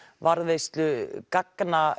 varðveislu gagna